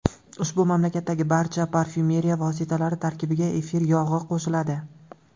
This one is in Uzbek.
Ushbu mamlakatdagi barcha parfyumeriya vositalari tarkibiga efir yog‘i qo‘shiladi.